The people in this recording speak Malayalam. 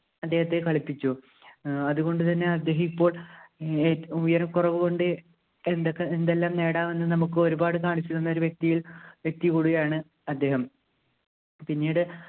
അദ്ദേഹത്തെ കളിപ്പിച്ചു ഏർ അതുകൊണ്ടുതന്നെ അദ്ദേഹം ഇപ്പോ ഏർ ഉയരകുറവുകൊണ്ട് എന്തൊക്കെ എന്തെല്ലാം നേടാം എന്ന് നമുക്ക് ഒരുപാട് കാണിച്ചു തന്ന വ്യക്തിയിൽ വ്യക്തി കൂടിയാണ് അദ്ദേഹം പിന്നീട്